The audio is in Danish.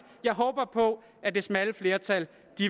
jeg håber på at det smalle flertal